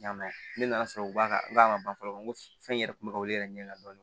Ɲ'a mɛ ne nana sɔrɔ u b'a ban fɔlɔ ko fɛn in yɛrɛ kun bɛ ka weele yɛrɛ ɲɛ dɔɔnin